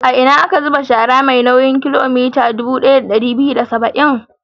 A ina aka zuba shara mai nauyin kilogiram dubu ɗaya da ɗari biyu da saba'in?